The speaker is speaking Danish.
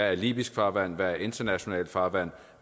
er libysk farvand hvad der er internationalt farvand